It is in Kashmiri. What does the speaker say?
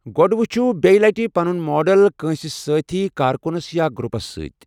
گۄڈٕ ؤچھِو بیٚیہِ لٹہِ پنُن ماڈل کٲنٛسہِ سٲتھی کارکُنَس یا گروپَس سۭتۍ۔